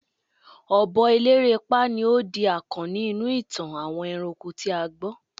obi elerepa ni o di akanni inú itan àwọn eranko ti a gbo